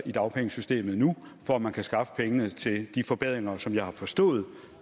i dagpengesystemet nu for at man kan skaffe pengene til de forbedringer som jeg har forstået at